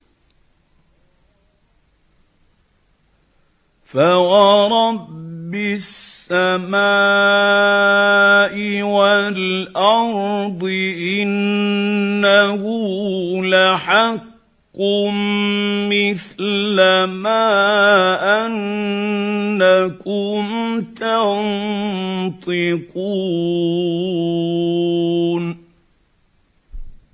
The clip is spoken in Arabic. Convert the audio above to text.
فَوَرَبِّ السَّمَاءِ وَالْأَرْضِ إِنَّهُ لَحَقٌّ مِّثْلَ مَا أَنَّكُمْ تَنطِقُونَ